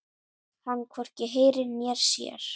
Hann hvorki heyrir né sér.